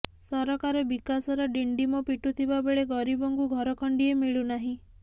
ସରକାର ବିକାଶର ଡିଣ୍ଡିମ ପିଟୁଥିବାବେଳେ ଗରିବଙ୍କୁ ଘର ଖଣ୍ଡିଏ ମିଳୁନାହିଁ